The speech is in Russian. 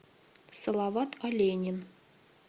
салават оленин